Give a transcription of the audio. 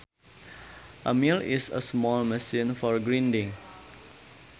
A mill is a small machine for grinding